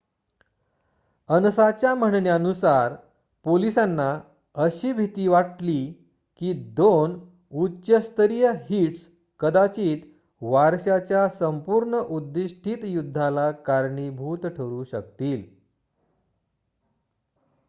"अनसाच्या म्हणण्यानुसार "पोलिसांना अशी भीती वाटली की दोन उच्च-स्तरीय हिट्स कदाचित वारशाच्या पूर्ण-उद्दीष्टित युद्धाला कारणीभूत ठरू शकतील.